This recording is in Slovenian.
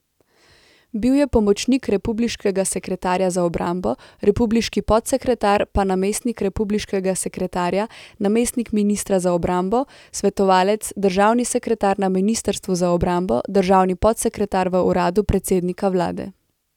Bil je pomočnik republiškega sekretarja za obrambo, republiški podsekretar, pa namestnik republiškega sekretarja, namestnik ministra za obrambo, svetovalec , državni sekretar na ministrstvu za obrambo, državni podsekretar v uradu predsednika vlade...